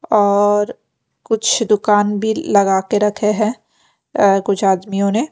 और कुछ दुकान भी लगा के रखे हैं अ कुछ आदमियों ने --